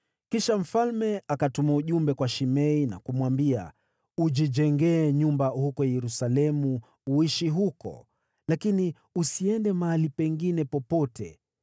Kisha mfalme akatuma ujumbe kwa Shimei na kumwambia, “Ujijengee nyumba huko Yerusalemu uishi huko, lakini usiende mahali pengine popote.